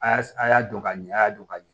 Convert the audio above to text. A y'a a y'a don ka ɲɛ a y'a dɔn ka ɲɛ